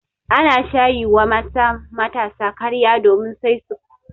An sha yi wa mata matasa karya domin Kai su karuwanci.